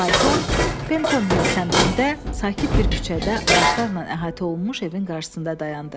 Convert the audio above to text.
Fayton Pentanvil səmtində sakit bir küçədə ağaclarla əhatə olunmuş evin qarşısında dayandı.